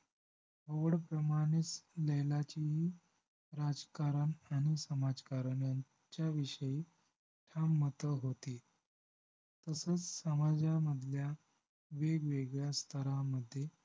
ओड प्रमाणेच लैलाचीही राजकारण आणि समाजकारण यांच्याविषयी ठाम मतं होती तसंच समाजमधल्या वेगवेगळ्या स्थरामधे